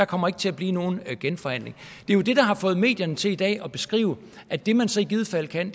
kommer til at blive nogen genforhandling det er jo det der har fået medierne til i dag at beskrive at det man så i givet fald kan